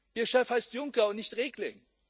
Ihr Chef heißt Juncker und nicht Regling.